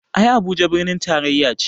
Ai Abuja birnin taraya ce